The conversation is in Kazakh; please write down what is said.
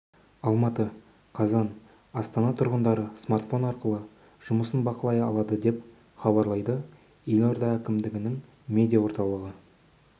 алматы қазан астана тұрғындары смартфон арқылы жұмысын бақылай алады деп хабарлайды елорда әкімдігінің медиа орталығы